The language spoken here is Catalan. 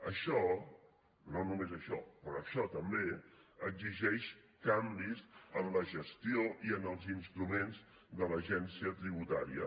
això no només això però això també exigeix canvis en la gestió i en els instruments de l’agència tributària